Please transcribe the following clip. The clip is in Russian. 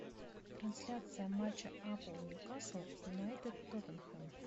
трансляция матча апл ньюкасл юнайтед тоттенхэм